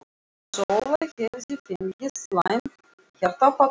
Sóla hefði fengið slæmt hjartaáfall um nóttina.